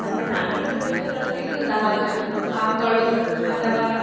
ನಮ್ಮ ಗ್ರಾಮೀಣ ಪ್ರದೇಶಗಳಲ್ಲಿ ಇದು ಸಹಜ ಆಕಳು ಅಥವಾ --